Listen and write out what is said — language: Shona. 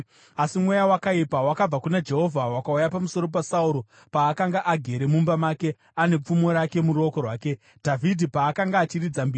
Asi mweya wakaipa wakabva kuna Jehovha wakauya pamusoro paSauro paakanga agere mumba make ane pfumo rake muruoko rwake. Dhavhidhi paakanga achiridza mbira,